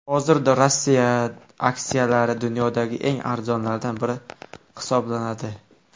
Hozirda Rossiya aksiyalari dunyodagi eng arzonlaridan biri hisoblanadi.